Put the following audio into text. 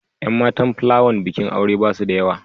Yan matan plawan bikin aure ba su da yawa.